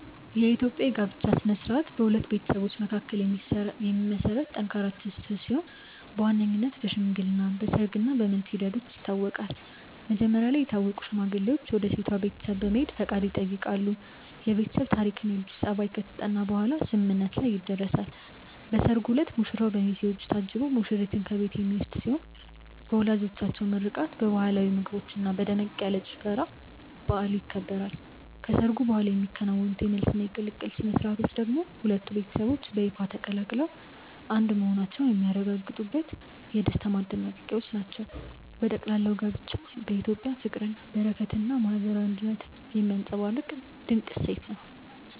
የኢትዮጵያ የጋብቻ ሥነ ሥርዓት በሁለት ቤተሰቦች መካከል የሚመሰረት ጠንካራ ትስስር ሲሆን በዋነኝነት በሽምግልና፣ በሰርግ እና በመልስ ሂደቶች ይታወቃል። መጀመሪያ ላይ የታወቁ ሽማግሌዎች ወደ ሴቷ ቤተሰብ በመሄድ ፈቃድ ይጠይቃሉ፤ የቤተሰብ ታሪክና የልጁ ጠባይ ከተጠና በኋላም ስምምነት ላይ ይደረሳል። በሰርጉ ዕለት ሙሽራው በሚዜዎች ታጅቦ ሙሽሪትን ከቤት የሚወስድ ሲሆን በወላጆች ምርቃት፣ በባህላዊ ምግቦችና በደመቅ ያለ ጭፈራ በዓሉ ይከበራል። ከሰርጉ በኋላ የሚከናወኑት የመልስና የቅልቅል ሥነ ሥርዓቶች ደግሞ ሁለቱ ቤተሰቦች በይፋ ተቀላቅለው አንድ መሆናቸውን የሚያረጋግጡበት የደስታ ማጠናቀቂያዎች ናቸው። በጠቅላላው ጋብቻ በኢትዮጵያ ፍቅርን፣ በረከትንና ማህበራዊ አንድነትን የሚያንፀባርቅ ድንቅ እሴት ነው።